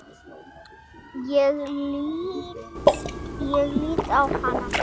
Ég lít á hana.